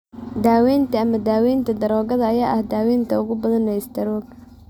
Daawaynta ama daawaynta daroogada ayaa ah daawaynta ugu badan ee istaroogga.